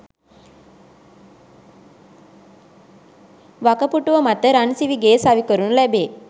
වකපුටුව මත රන්සිවිගෙය සවිකරනු ලැබේ